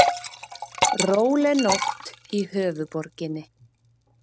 Róleg nótt í höfuðborginni